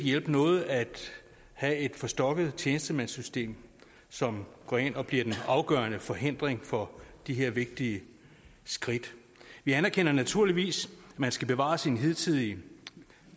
hjælpe noget at have et forstokket tjenestemandssystem som går ind og bliver den afgørende forhindring for de her vigtige skridt vi anerkender naturligvis at man skal bevare sine hidtidige